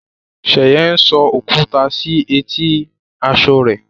Sheye ń so okuta si eti aṣọ rẹ.